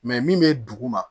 min bɛ dugu ma